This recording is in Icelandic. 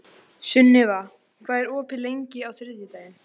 Sunniva, hvað er opið lengi á þriðjudaginn?